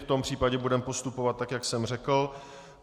V tom případě budeme postupovat tak, jak jsem řekl.